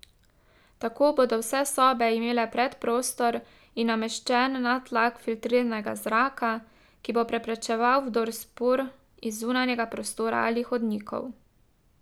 Tako bodo vse sobe imele predprostor in nameščen nadtlak filtriranega zraka, ki bo preprečeval vdor spor iz zunanjega prostora ali hodnikov.